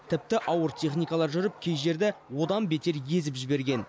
тіпті ауыр техникалар жүріп кей жерді одан бетер езіп жіберген